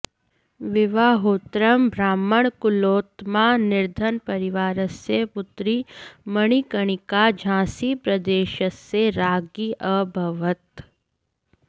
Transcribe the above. विवाहोत्तरं ब्राह्मणकुलोत्मना निर्धनपरिवारस्य पुत्री मणिकर्णिका झांसीप्रदेशस्य राज्ञी अभवत्